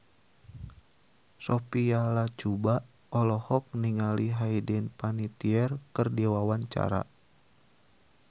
Sophia Latjuba olohok ningali Hayden Panettiere keur diwawancara